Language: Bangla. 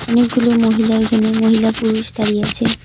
অনেকগুলো মহিলা এখানে মহিলা পুরুষ দাঁড়িয়ে আছে।